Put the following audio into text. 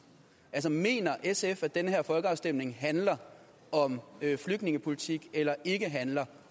mener sf at den her folkeafstemning handler om flygtningepolitik eller ikke handler